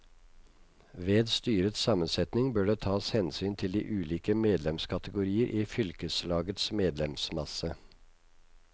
Ved styrets sammensetning bør det tas hensyn til de ulike medlemskategorier i fylkeslagets medlemsmasse.